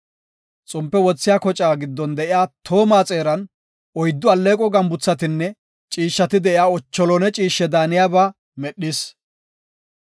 Xompe wothiya kocaa giddon de7iya tooma xeeran oyddu alleeqo gambuthatinne ciishshati de7iya lawuze mitha ciishshe daaniyaba medhis.